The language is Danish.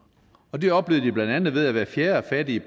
det oplever de blandt andet ved at hvert fjerde fattige